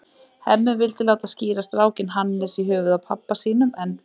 Hemmi vildi láta skíra strákinn Hannes, í höfuðið á pabba sínum, en